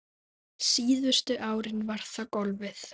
Síðustu árin var það golfið.